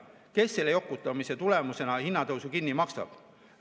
Kes selle jokutamise tulemusena tekkiva hinnatõusu kinni maksab?